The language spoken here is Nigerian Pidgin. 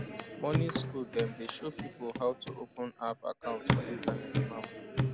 money school dem dey show pipo how to open app account for internet now